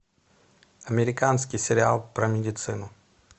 американский сериал про медицину